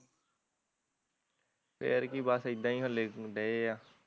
ਫੇਰ ਕੀ ਬਸ ਏਦਾਂ ਈ ਹਲੇ ਡਏ ਆ